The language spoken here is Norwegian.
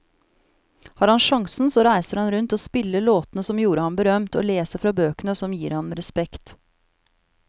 Har han sjansen så reiser han rundt og spiller låtene som gjorde ham berømt, og leser fra bøkene som gir ham respekt.